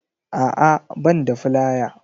A'a ban da filaya